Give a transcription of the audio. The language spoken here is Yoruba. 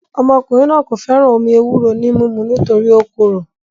Ọmọkùnrin náà kò fẹ́ràn omí ewúro ní mímu nítorí ó korò